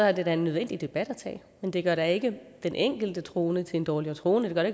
er det da en nødvendig debat at tage men det gør da ikke den enkelte troende til en dårligere troende det gør